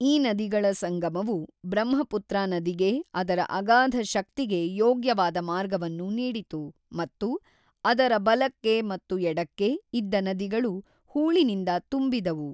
ಈ ನದಿಗಳ ಸಂಗಮವು ಬ್ರಹ್ಮಪುತ್ರ ನದಿಗೆ ಅದರ ಅಗಾಧ ಶಕ್ತಿಗೆ ಯೋಗ್ಯವಾದ ಮಾರ್ಗವನ್ನು ನೀಡಿತು ಮತ್ತು ಅದರ ಬಲಕ್ಕೆ ಮತ್ತು ಎಡಕ್ಕೆ ಇದ್ದ ನದಿಗಳು ಹೂಳಿನಿಂದ ತುಂಬಿದವು.